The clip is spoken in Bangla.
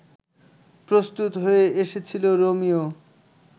প্রস্তুত হয়ে এসেছিল রোমিও